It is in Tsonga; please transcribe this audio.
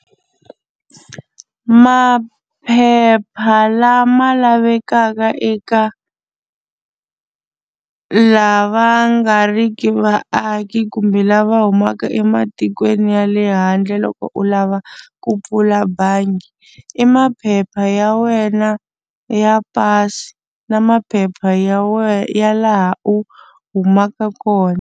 Maphepha lama lavekaka eka lava nga riki vaaki kumbe lava humaka eka tikweni ya le handle loko u lava ku pfula bangi i maphepha ya wena ya pasi na maphepha ya wena laha u humaka kona.